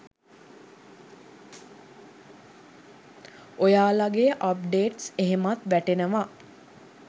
ඔයාලගේ අප්ඩේට්ස් එහෙමත් වැටෙනවා.